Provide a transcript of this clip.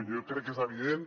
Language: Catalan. jo crec que és evident